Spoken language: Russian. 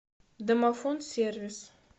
домофон сервис